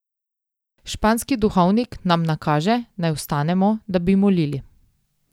Španski duhovnik nam nakaže, naj vstanemo, da bi molili.